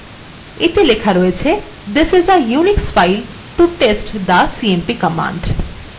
এতে লেখা রয়েছে this is a unix file to test the cmp command